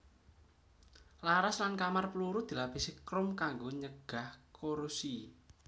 Laras lan kamar pluru dilapisi krom kanggo nyegah korosi